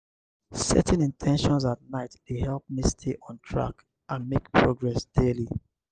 setting in ten tions at night dey help me stay on track and make progress daily.